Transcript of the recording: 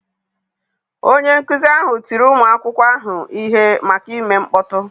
Onye nkụzi ahụ tiri ụmụ akwụkwọ ahụ ihe maka ime mkpọtụ.